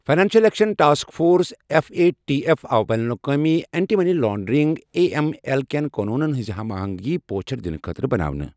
financial action task force F A T F آو بین الاقوٲمی anti money laundering A M L کٮ۪ن قونوٗنن ہِنٛزِ ہم آہنٛگی پوچھر دِنہٕ خٲطرٕ بناونہٕ